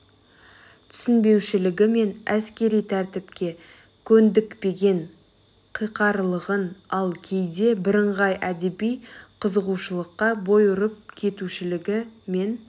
түсінбеушілігі мен әскери тәртіпке көндікпеген қиқарлығын ал кейде бірыңғай әдеби қызығушылыққа бой ұрып кетушілігі мен